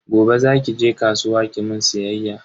Gobe zaki je kasuwa kimun siyayya.